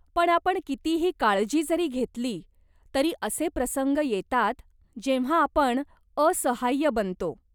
पण आपण कितीही काळजी जरी घेतली, तरी असे प्रसंग येतात जेव्हा आपण असहाय्य बनतो.